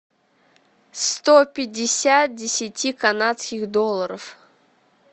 сто пятьдесят десяти канадских долларов